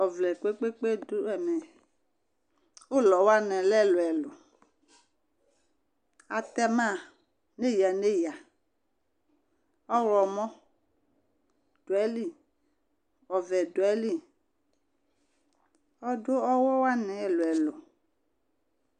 Ɔvlɛ kpekpekpe dù ɛmɛ, ulɔ wani lɛ ɛluɛlu, atɛma n'eya n'aya, ɔwlɔmɔ du ayili, ɔvɛ du ayili, ɔdu ɔwɔ wani ɛluɛlu